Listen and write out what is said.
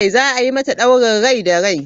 Za a yi mata daurin rai da rai.